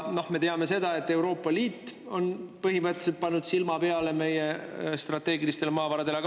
Me teame, et Euroopa Liit on põhimõtteliselt pannud silma peale meie strateegilistele maavaradele.